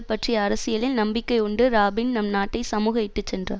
பற்றிய அரசியலில் நம்பிக்கை உண்டு ராபின் நம் நாட்டை சமூக இட்டுச்சென்றார்